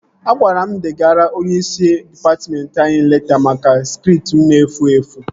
A gwara m degara onyeisi dịpatmentị anyị leta maka skript m na-efu efu